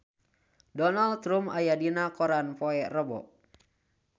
Donald Trump aya dina koran poe Rebo